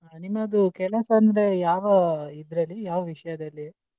ನಿಮ್ಮದು ಕೆಲಸ ಅಂದ್ರೆ ಯಾವ ಇದ್ರಲ್ಲಿ ಯಾವ ವಿಷಯದಲ್ಲಿ?